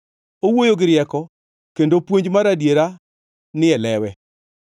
Owuoyo gi rieko kendo puonj mar adiera ni e lewe.